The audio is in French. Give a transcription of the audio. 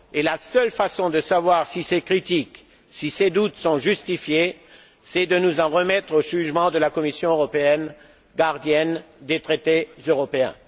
La seule façon de savoir si ces critiques et ces doutes sont justifiés, c'est de nous en remettre au jugement de la Commission européenne, gardienne des traités européens.